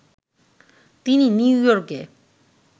তিনি নিউইয়র্কে